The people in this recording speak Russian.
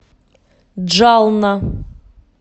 джална